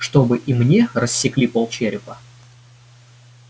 чтобы и мне рассекли полчерепа